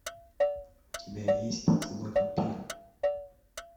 у тебя есть поцелуй вампира